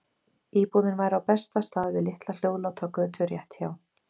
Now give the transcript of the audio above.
Íbúðin væri á besta stað, við litla hljóðláta götu rétt hjá